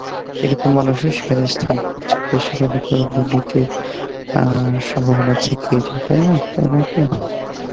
এরকম মানুষই সেখানে স্থান পাচ্ছে তো সেখানে তো দুর্নীতির অ্যাঁ সম্ভবনা থেকেই যায়, তাই না? তাই নয় কী?